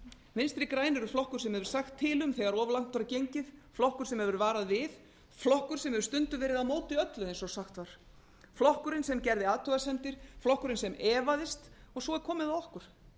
vinstri grænir eru flokkur sem hefur sagt til um þegar of langt var gengið flokkur sem hefur varað við flokkur sem hefur stundum verið á móti öllu eins og sagt var flokkurinn sem gerði athugasemdir flokkurinn sem efaðist og svo er komið að okkur